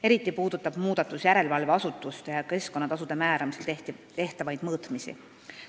Eriti puudutab muudatus järelevalveasutuste tehtavaid mõõtmisi, samuti keskkonnatasude määramisel tehtavaid mõõtmisi.